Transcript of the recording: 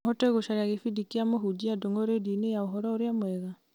noũhote gũcaria gĩbindi kĩa mũhũnjia ndũng'ũ rĩndiũ-inĩ ya ũhoro ũrĩa mwega